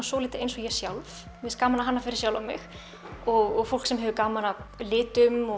svolítið eins og ég sjálf mér gaman að hanna fyrir sjálfa mig og fólk sem hefur gaman af litum og